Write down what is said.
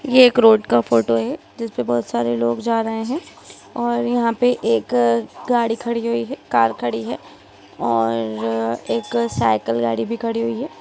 ये एक रोड का फोटो है जिसमे बहुत सारे लोग जा रहे है और यहाँ पे एक गाड़ी खड़ी हुई हैकार खड़ी है और एक साइकल गाड़ी भि खड़ी है।